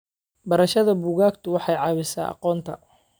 Barashada buugaagta waxay caawisaa aqoonta.